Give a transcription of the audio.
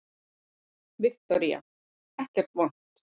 Viktoría: Ekkert vont?